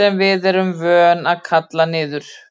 sem við erum vön að kalla niður.